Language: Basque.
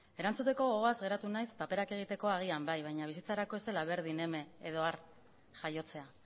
erantzuteko gogoaz geratu naiz paperak egiteko agian bai baina bizitzarako ez dela berdin eme edo ar jaiotzea